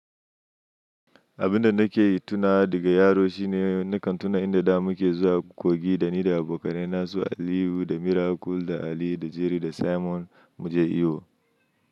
Abin da nake yi tunawa daga yaro shine nakan tuna inda da muke zuwa kogi da ni da abokanai na su Aliyu da Miracle da Ali da Jerry da Simon mu je iyo.